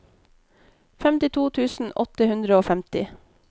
femtito tusen åtte hundre og femti